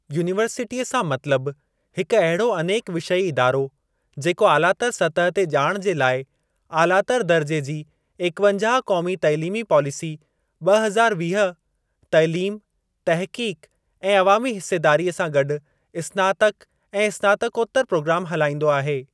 यूनीवर्सिटीअ सां मतलब हिकु अहिड़ो अनेक विषयी इदारो, जेको आलातर सतह ते ॼाण जे लाइ आलातर दर्जे जी एकवंजाह क़ौमी तइलीमी पॉलिसी ॿ हज़ार वीह तइलीम, तहक़ीक़ ऐं अवामी हिस्सेदारीअ सां गॾु स्नातक ऐं स्नातकोतर प्रोग्राम हलाईंदो आहे।